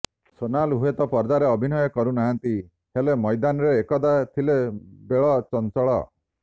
ସୋନାଲ ହୁଏତ ପର୍ଦ୍ଦାରେ ଅଭିନୟ କରୁ ନାହାନ୍ତି ହେଲେ ମୈଦାନରେ ଏକଦା ଥିଲେ ବେଳ ଚଞ୍ଚଳ